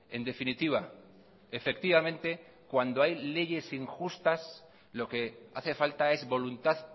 en definitiva efectivamente cuando hay leyes injustas lo que hace falta es voluntad